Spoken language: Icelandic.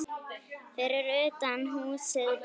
Fyrir utan húsið beið